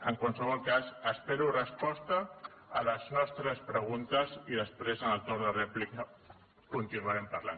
en qualsevol cas espero resposta a les nostres preguntes i després en el torn de rèplica continuarem parlant